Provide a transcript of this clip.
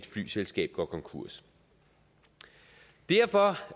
flyselskab går konkurs derfor